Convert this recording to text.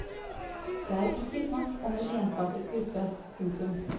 Det er ikke snakk om en ensartet gruppe. punktum